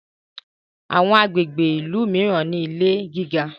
Àwọn agbègbè ilú míràn ní ilè gíga.